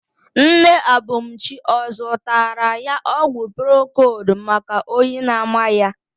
Nne Abumchi ọ zụtara ya ọgwụ procold maka oyi na-ama ya?